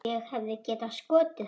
Ég hefði getað skotið hann.